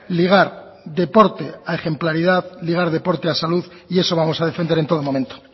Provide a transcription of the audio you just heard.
ligar deporte a ejemplaridad ligar deporte a salud y eso vamos a defender en todo momento